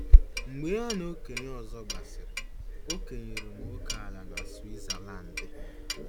Mgbe ya na okenye ọzọ gbasịrị, o kenyere m ókèala na Switzalandi.